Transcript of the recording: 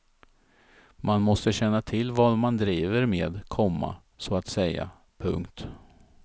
Man måste känna till vad man driver med, komma så att säga. punkt